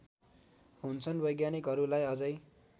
हुन्छन् वैज्ञानिकहरूलाई अझै